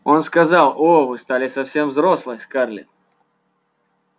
он сказал о вы стали совсем взрослой скарлетт